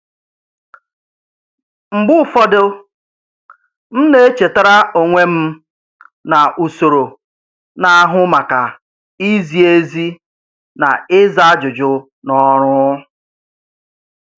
Mgbe ụfọdụ, m na-echetara onwe m na usoro na-ahụ maka izi ezi na ịza ajụjụ na ọrụ.